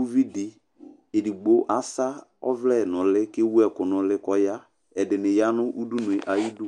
Uvidi edigbo asa ɔvlɛ n'ʋli k'ewu ɛku n'ʋli k'ɔya Ɛdini ya nʋ udunu yɛ ayidu